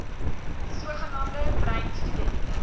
sogenaamde bruin studente